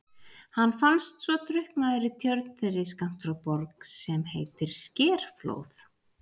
Hann fannst svo drukknaður í tjörn þeirri skammt frá Borg sem heitir Skerflóð.